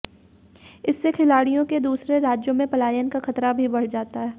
इससे खिलाड़ियों के दूसरे राज्यों में पलायन का खतरा भी बढ़ जाता